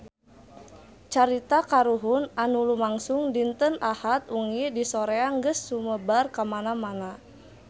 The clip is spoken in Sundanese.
Carita kahuruan anu lumangsung dinten Ahad wengi di Soreang geus sumebar kamana-mana